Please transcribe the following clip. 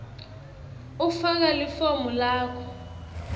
ufaka lifomu lakho